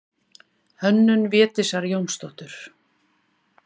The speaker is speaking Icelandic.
Hönnun Védísar Jónsdóttur.